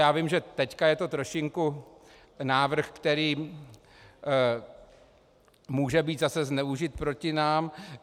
Já vím, že teď je to trošinku návrh, který může být zase zneužit proti nám.